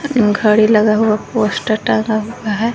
घड़ी लगा हुआ पोस्टर टांगा हुआ है।